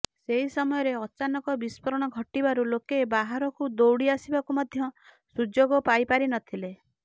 ସେହି ସମୟରେ ଅଚାନକ ବିସ୍ଫୋରଣ ଘଟିବାରୁ ଲୋକେ ବାହାରକୁ ଦୌଡି ଆସିବାକୁ ମଧ୍ୟ ସୁଯୋଗ ପାଇପାରିନଥିଲେ